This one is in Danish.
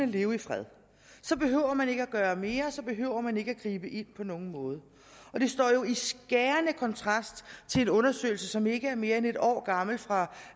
leve i fred så behøver man ikke at gøre mere så behøver man ikke at gribe ind på nogen måde og det står jo i skærende kontrast til en undersøgelse som ikke er mere end et år gammel fra